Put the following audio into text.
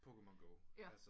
Pokemon Go altså